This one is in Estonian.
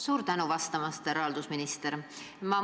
Suur tänu vastamast, härra haldusminister!